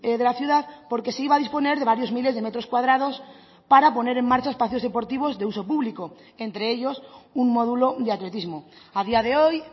de la ciudad porque se iba a disponer de varios miles de metros cuadrados para poner en marcha espacios deportivos de uso público entre ellos un módulo de atletismo a día de hoy